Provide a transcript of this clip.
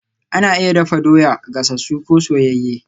Ana iya dafa doya, gasasu ko soyayye